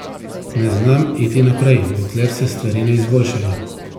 Ne znam iti naprej, dokler se stvari ne izboljšajo.